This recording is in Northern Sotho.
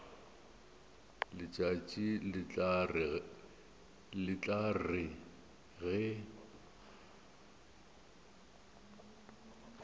letšatši le tla re ge